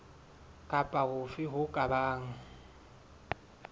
kapa hofe ho ka bang